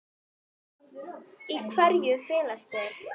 Í hverju felast þeir?